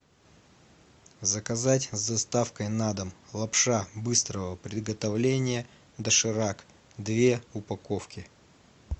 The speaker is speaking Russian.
заказать с доставкой на дом лапша быстрого приготовления доширак две упаковки